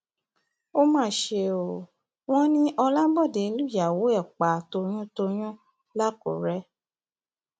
ó mà ṣe o wọn ní ọlábòde lùyàwó ẹ pa toyúntoyún làkúrẹ